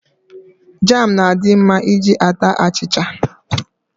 Jam na-adi mma iji ata achicha.